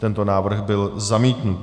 Tento návrh byl zamítnut.